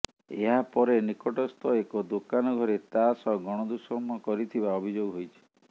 ଏହାପରେ ନିକଟସ୍ଥ ଏକ ଦୋକାନ ଘରେ ତା ସହ ଗଣଦୁଷ୍କର୍ମ କରିଥିବା ଅଭିଯୋଗ ହୋଇଛି